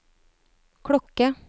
klokke